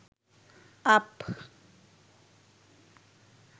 up